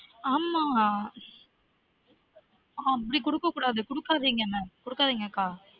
ஆமா அப்டி குடுக்ககூடாது குடுக்காதீங்க குடுக்காதீங்க கா